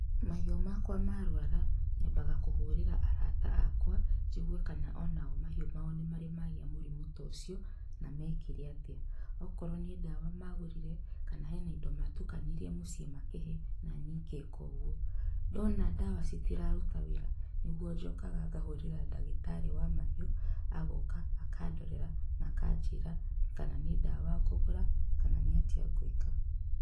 Mahiũ makwa marwara nyambaga kũhũrĩra arata akwa njigue kana onao mahiũ mao nĩmarĩ magĩa mũrimũ ta ũcio na mekire atĩa, okorwo nĩ ndawa magũrire kana he na indo matukanirie mũciĩ makĩhe nanĩ ngeka ũguo. Ndona ndawa citiraruta wĩra nĩguo njokaga ngahũrĩra ndagĩtarĩ wa mahiũ agoka akandorera na akanjĩra kana nĩ ndawa ngũgũra kana nĩatĩa ngwĩka.